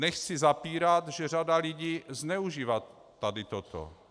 Nechci zapírat, že řada lidí zneužívá tady toto.